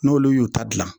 N'olu y'u ta gilan